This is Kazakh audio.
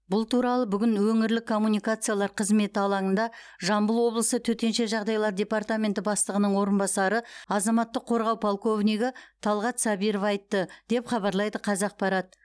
бұл туралы бүгін өңірлік коммуникациялар қызметі алаңында жамбыл облысы төтенше жағдайлар департаменті бастығының орынбасары азаматтық қорғау полковнигі талғат сабиров айтты деп хабарлайды қазақпарат